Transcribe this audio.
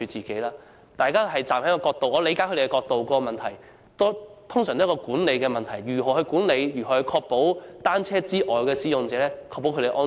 我理解他們的角度，他們通常關注管理上的問題，即如何管理及確保單車使用者以外的其他使用者的安全。